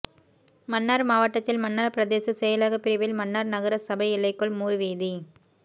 மன்னார் மாவட்டத்தில் மன்னார் பிரதேச செயலக பிரிவில் மன்னார் நகர சபை எல்லைக்குள் மூர்வீதி